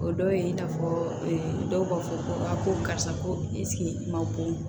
O dɔ ye in n'a fɔ dɔw b'a fɔ ko a ko karisa ko i sigi ma bon